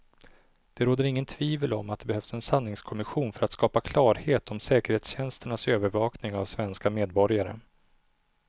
Det råder inget tvivel om att det behövs en sanningskommission för att skapa klarhet om säkerhetstjänsternas övervakning av svenska medborgare.